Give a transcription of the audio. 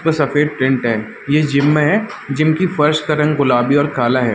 जिसपे सफ़ेद पेंट है ये जिम है जिम की फर्श का रंग गुलाबी और काला है।